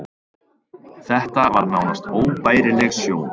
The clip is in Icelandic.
Þetta var nánast óbærileg sjón.